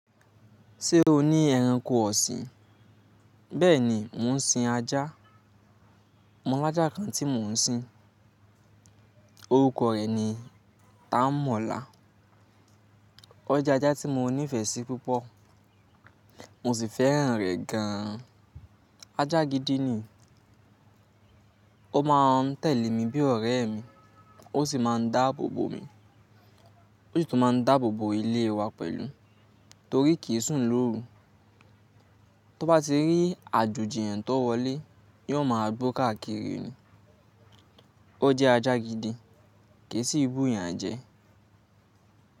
Ṣé o ní ẹranko ọ̀sìn? Bẹ́ẹ̀ni, mò ń sin ajá. Mọ́lájá kan tí mò ń sin. Orúkọ rẹ̀ ni Tánmọ́lá. O jẹ́ ajá tí mo nífẹ̀ẹ́ sí púpọ̀. Mo sì fẹ́ràn rẹ gan-an. Ajá gidi ni. Ó máa ń tẹ̀lé mi bí ọ̀rẹ́ mi, ó sì máa ń dáàbòbò mi. Ó sì tún máa ń dáàbòbò ilé wa pẹ̀lú torí kì í sùn lóru. Tó bá ti rí àjoji ẹyan tó wọlé, yóò máa gbó káàkiri ni. O jẹ́ ajá gidi kì í sì bù eyàn jẹ.